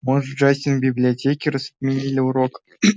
может джастин в библиотеке раз отменили урок